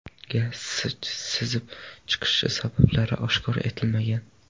Gaz sizib chiqishi sabablari oshkor etilmagan.